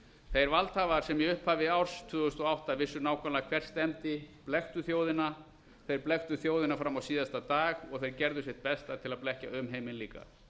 þeir valdhafar sem í upphafi árs tvö þúsund og átta vissu nákvæmlega hvert stefndi blekktu þjóðina þeir blekktu þjóðina fram á síðasta dag og þeir gerðu sitt besta til að blekkja umheiminn líka